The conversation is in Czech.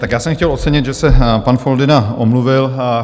Tak já jsem chtěl ocenit, že se pan Foldyna omluvil.